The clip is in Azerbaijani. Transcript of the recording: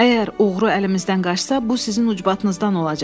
Əgər oğru əlimizdən qaçsa, bu sizin ucbatınızdan olacaq.